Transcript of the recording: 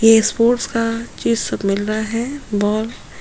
ये स्पोर्ट्स का ये सब मिल रहा है बॉल --